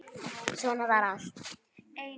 Svona var allt.